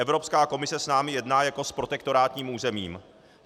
Evropská komise s námi jedná jako s protektorátním územím.